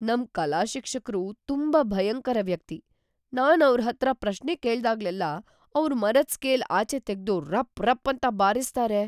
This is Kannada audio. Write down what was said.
ನಮ್ ಕಲಾ ಶಿಕ್ಷಕ್ರು ತುಂಬಾ ಭಯಂಕರ ವ್ಯಕ್ತಿ. ನಾನ್ ಅವ್ರ್‌ ಹತ್ರ ಪ್ರಶ್ನೆ ಕೇಳ್ದಾಗ್ಲೆಲ್ಲಾ ಅವ್ರು ಮರದ್ ಸ್ಕೇಲ್‌ ಆಚೆ ತೆಗ್ದು ರಪ್ ರಪ್‌ ಅಂತ ಬಾರಿಸ್ತಾರೆ.